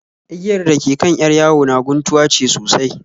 Igiyar dake kan 'yar yawo na guntuwa ce sosai